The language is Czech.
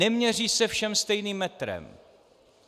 Neměří se všem stejným metrem.